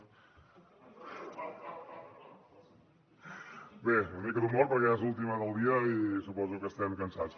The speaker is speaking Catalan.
bé una mica d’humor perquè ja és l’última del dia i suposo que estem cansats